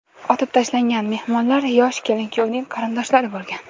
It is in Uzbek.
Otib tashlangan mehmonlar yosh kelin-kuyovning qarindoshlari bo‘lgan.